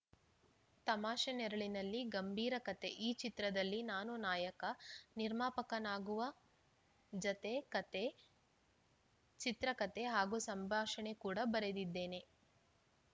ತಮಾಷೆ ನೆರಳಿನಲ್ಲಿ ಗಂಬೀರ ಕಥೆ ಈ ಚಿತ್ರದಲ್ಲಿ ನಾನು ನಾಯಕ ನಿರ್ಮಾಪಕನಾಗುವ ಜತೆ ಕಥೆ ಚಿತ್ರಕಥೆ ಹಾಗೂ ಸಂಭಾಷಣೆ ಕೂಡ ಬರೆದಿದ್ದೇನೆ